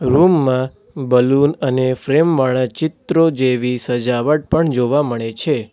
Room માં balloon અને frame વાળા ચિત્રો જેવી સજાવટ પણ જોવા મળે છે.